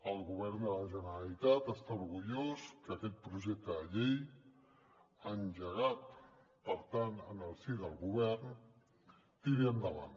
el govern de la generalitat està orgullós que aquest projecte de llei engegat per tant en el si del govern tiri endavant